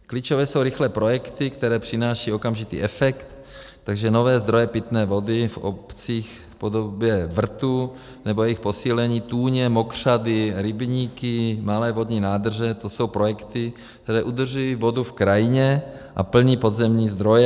Klíčové jsou rychlé projekty, které přináší okamžitý efekt, takže nové zdroje pitné vody v obcích v podobě vrtů nebo jejich posílení, tůně, mokřady, rybníky, malé vodní nádrže, to jsou projekty, které udržují vodu v krajině a plní podzemní zdroje.